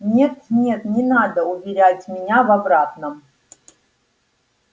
нет нет не надо уверять меня в обратном